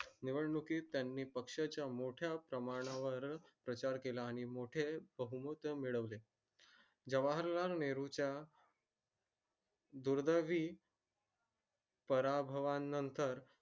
निवडणुकीत त्यानी पक्षा चा मोठया प्रमाणावर स्वीकार केला आणि मोठे बहुमहत्व मिळवले जवाहर लाल नेहरू च्या दुर्दयवी परवभाव नंतर